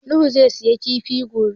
Nuhu zai siya kilifa gobe.